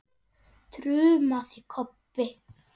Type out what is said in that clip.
þrumaði Kobbi.